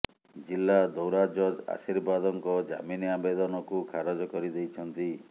ଜିଲ୍ଲା ଦୌରା ଜଜ୍ ଆଶୀର୍ବାଦଙ୍କ ଜାମିନ ଆବେଦନକୁ ଖାରଜ କରିଦେଇଛନ୍ତି